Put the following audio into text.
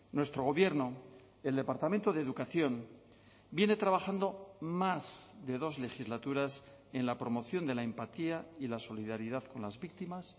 nuestro gobierno el departamento de educación viene trabajando más de dos legislaturas en la promoción de la empatía y la solidaridad con las víctimas